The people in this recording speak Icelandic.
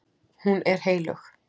Hún er heilög.